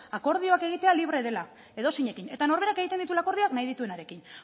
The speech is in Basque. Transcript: akordioak egitea libre dela edozeinekin eta norberak egiten dituela akordioak nahi dituenarekin